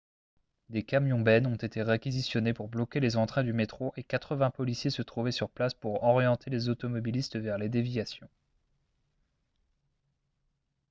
des camions-bennes ont été réquisitionnés pour bloquer les entrées du métro et 80 policiers se trouvaient sur place pour orienter les automobilistes vers les déviations